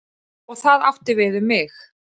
Og það átti við um mig.